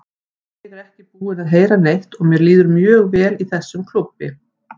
Ég er ekki búinn að heyra neitt og mér líður mjög vel í þessum klúbbi.